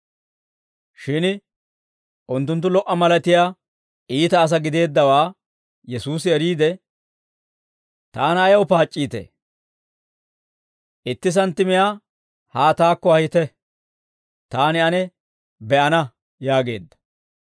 Shin unttunttu lo"a malatiyaa iita asaa gideeddawaa Yesuusi eriide, «Taana ayaw paac'c'iitee? Itti santtimiyaa haa taakko ahite; taani ane be'ana» yaageedda.